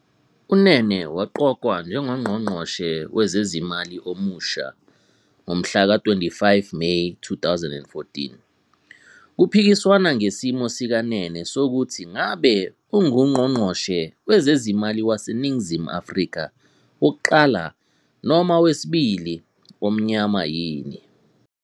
UNene waqokwa njengoNgqongqoshe Wezezimali omusha ngomhlaka 25 Meyi 2014. Kuphikiswana ngesimo sikaNene sokuthi ngabe unguNgqongqoshe Wezezimali waseNingizimu Afrika wokuqala noma wesibili omnyama yini.